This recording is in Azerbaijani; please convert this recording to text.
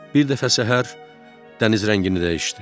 Bir dəfə səhər dəniz rəngini dəyişdi.